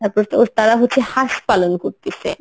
তারপর তোর তারা হচ্ছে হাঁস পালন করতিছে